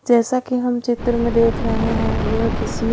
जैसा कि हम चित्र में देख रहे हैं यह किसी--